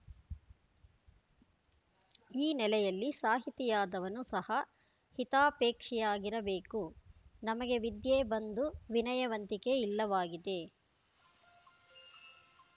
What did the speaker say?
ಈ ನೆಲೆಯಲ್ಲಿ ಸಾಹಿತಿಯಾದವನು ಸಹ ಹಿತಾಪೇಕ್ಷಿಯಾಗಿರಬೇಕು ನಮಗೆ ವಿದ್ಯೆ ಬಂದು ವಿನಯವಂತಿಕೆ ಇಲ್ಲವಾಗಿದೆ